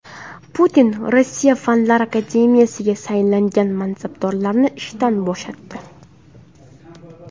Putin Rossiya fanlar akademiyasiga saylangan mansabdorlarni ishdan bo‘shatdi.